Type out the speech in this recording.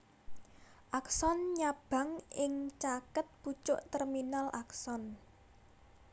Akson nyabang ing caket pucuk terminal akson